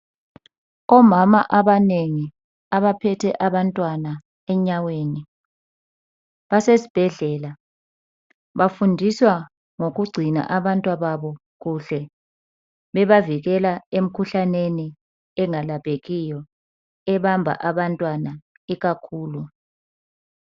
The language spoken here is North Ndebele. Omama abanengi abaphethe abantwana enyaweni basesibhedlela bafundiswa ngokugcina abantwababo kuhle bebavikela emkhuhlaneni engalaphekiyo ebamba abantwana ikakhulu.